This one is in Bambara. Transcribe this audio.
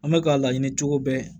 An bɛ ka laɲini cogo bɛɛ